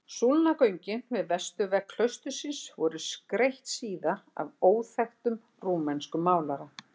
Súlnagöngin við vesturvegg klaustursins voru skreytt síðar af óþekktum rúmenskum málara.